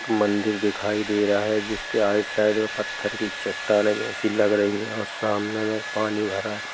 मंदिर दिखाई दे रहा है जिसके आर साइड में पत्त्थर की चट्टानें से लग रही है सामने पानी भरा है।